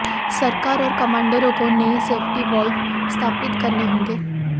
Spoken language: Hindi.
सरकार और कमांडरों को नए सेफ्टी वॉल्व स्थापित करने होंगे